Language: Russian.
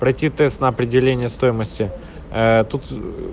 пройти тест на определение стоимости ээ тут